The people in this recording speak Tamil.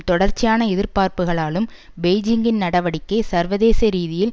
தொடர்ச்சியான எதிர்ப்புக்களாலும் பெய்ஜிங்கின் நடவடிக்கை சர்வதேச ரீதியில்